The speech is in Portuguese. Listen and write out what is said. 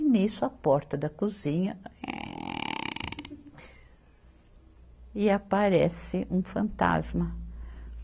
E nisso, a porta da cozinha, (som de ranger da porta) E aparece um fantasma.